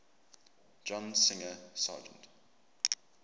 john singer sargent